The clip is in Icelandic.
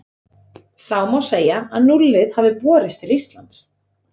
Þá má segja að núllið hafi borist til Íslands.